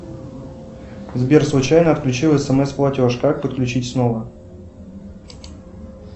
сбер случайно отключил смс платеж как подключить снова